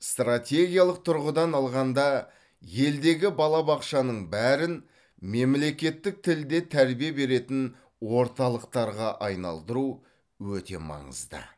стратегиялық тұрғыдан алғанда елдегі балабақшаның бәрін мемлекеттік тілде тәрбие беретін орталықтарға айналдыру өте маңызды